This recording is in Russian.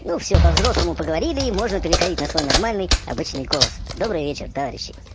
ну все по-взрослому поговорили и можно переходить на свой нормальный обычный голос добрый вечер товарищи